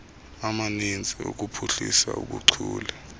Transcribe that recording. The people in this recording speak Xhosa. amaninzi okuphuhlisa ubuchule